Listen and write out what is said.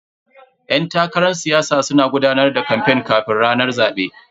Yan takarar siyasa suna gudanar da kamfen kafin ranar zabe.